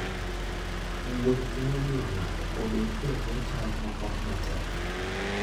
Wuoth nyalo miyo ng'ato obed e bwo chal moko matek.